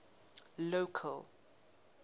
local